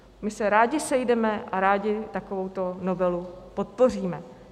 My se rádi sejdeme a rádi takovouto novelu podpoříme.